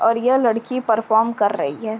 और यह लड़की परफॉर्म कर रही है।